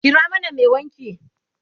kira mana Mai wanki!